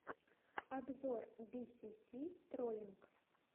обзор би си си троллинг